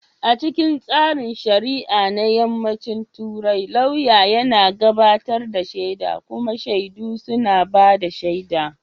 A cikin tsarin shari'a na Yammacin Turai, lauyan yana gabatar da shaida kuma shaidu suna ba da shaida.